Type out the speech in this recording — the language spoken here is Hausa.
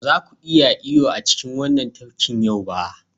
Ba za ku iya yin iyo a cikin wannan tafkin yau ba.